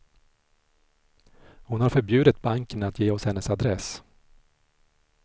Hon har förbjudit banken att ge oss hennes adress.